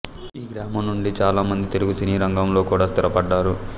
ఈ గ్రామం నుండి చాలా మంది తెలుగు సినీ రంగంలో కూడా స్థిరపడ్డారు